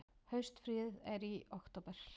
Haustfríið er í október.